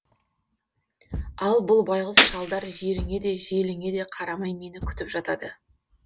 ал бұл байғұс шалдар жеріңе де желіңе де қарамай мені күтіп жатады